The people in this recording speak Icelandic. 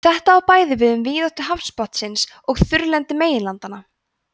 þetta á bæði við um víðáttu hafsbotnsins og þurrlendi meginlandanna